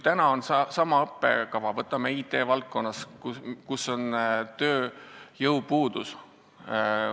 Võtame IT-valdkonna, kus on suur tööjõupuudus.